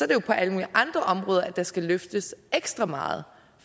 det på alle mulige andre områder at der skal løftes ekstra meget